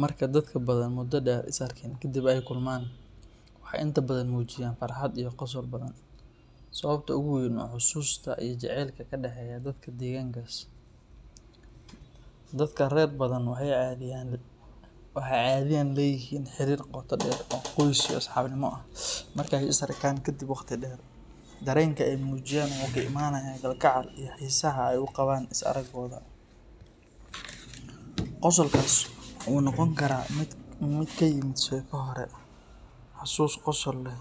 Marka dadka Badhan muddo dheer is arkin kadib ay kulmaan, waxay inta badan muujiyaan farxad iyo qosl badan. Sababta ugu weyn waa xusuusta iyo jacaylka ka dhaxeeya dadka deegaankaas. Dadka reer Badhan waxay caadiyan leeyihiin xiriir qoto dheer oo qoys iyo asxaabnimo ah, marka ay is arkaan kadib waqti dheer, dareenka ay muujiyaan wuxuu ka imanayaa kalgacayl iyo xiisaha ay u qabaan is aragooda. Qosolkaas waxa uu noqon karaa mid ka yimid sheeko hore, xasuus qosol leh,